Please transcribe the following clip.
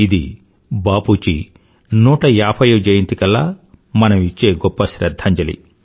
ఇది బాపూజీ 150 వ జయంతి కల్లా మనం ఇచ్చే గొప్ప శ్రధ్ధాంజలి